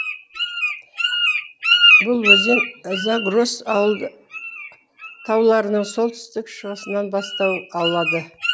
бұл өзен загрос тауларының солтүстік шығысынан бастау алады